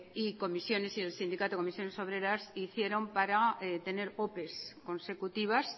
y el sindicato comisiones obreras hicieron para tener opes consecutivas